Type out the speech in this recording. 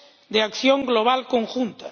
de acción global conjunta.